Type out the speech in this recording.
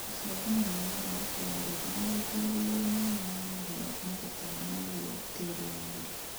Gũchenjania mĩmera nĩ kwagĩrĩire nĩguo kũrigĩrĩria mĩrimũya mũhĩa na tũtambĩ na nĩguo tĩĩri wagĩre